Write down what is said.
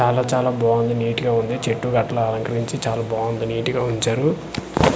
చాలా చాలా బాగుంది నీట్ గా ఉంది చెట్టు కి అట్లా అలంకరించి చాలా బాగుంది నీట్ గా ఉంచారు .]